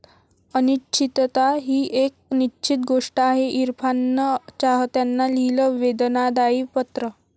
अनिश्चितता हीच एक निश्चित गोष्ट आहे, इरफाननं चाहत्यांना लिहिलं वेदनादायी पत्र